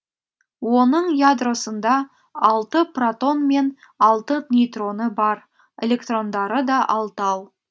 оның ядросында алты протон мен алты нейтроны бар электрондары да алтау